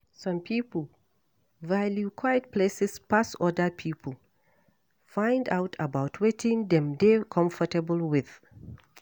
Some pipo value quiet places pass oda pipo, find out about wetin dem dey comfortable with